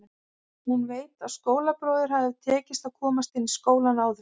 Hún veit að skólabróður hafði tekist að komast inn í skólann árið áður.